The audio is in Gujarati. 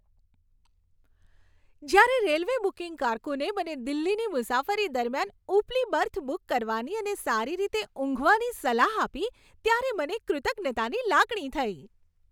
જ્યારે રેલવે બુકિંગ કારકુને મને દિલ્હીની મુસાફરી દરમિયાન ઉપલી બર્થ બુક કરવાની અને સારી રીતે ઊંઘવાની સલાહ આપી ત્યારે મને કૃતજ્ઞતાની લાગણી થઈ.